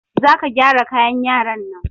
Za ka gyara kayan yaran nan!